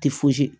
Tɛ fosi